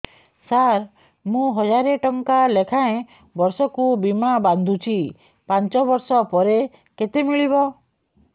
ସାର ମୁଁ ହଜାରେ ଟଂକା ଲେଖାଏଁ ବର୍ଷକୁ ବୀମା ବାଂଧୁଛି ପାଞ୍ଚ ବର୍ଷ ପରେ କେତେ ମିଳିବ